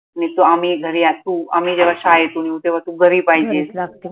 आम्ही घरी आसू आम्ही जेव्हा शाळेतून येऊ तेव्हा तु घरी पाहिजे